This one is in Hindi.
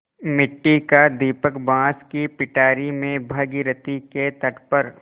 मिट्टी का दीपक बाँस की पिटारी में भागीरथी के तट पर